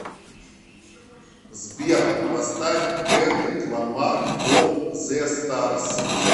сбер поставь кендрик ламар ол зе старс